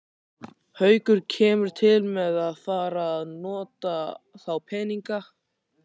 Haukur: Kemur til með að fara að nota þá peninga?